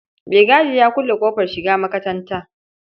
Maigadi ya kulle ƙofar shiga makatanta.